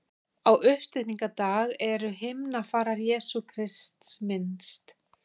Á uppstigningardag er himnafarar Jesú Krists minnst.